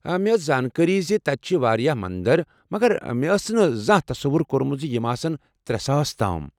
مےٚ ٲس زانٛکٲری زِ تتہِ چھ واریاہ مندر مگر مےٚ آسہے نہٕ زانٛہہ تصوٗر كورمٗت ز یِم آسن ترےساس تام